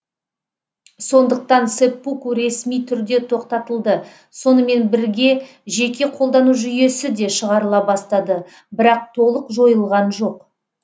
сондықтан сэппуку ресми түрде тоқтатылды сонымен бірге жеке қолдану жүйесі де шығарыла бастады бірақ толық жойылған жоқ